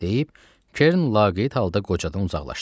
deyib Kern laqeyd halda qocadan uzaqlaşdı.